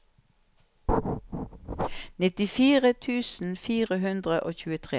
nittifire tusen fire hundre og tjuetre